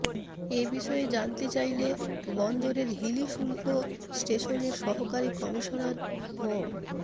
এ বিষয়ে জানতে চাইলে বন্দরের হিলি শুল্ক স্টেশনের সহকারী কমিশনার মো